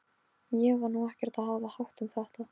Ég var nú ekkert að hafa hátt um þetta.